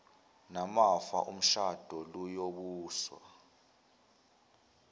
namafa omshado luyobuswa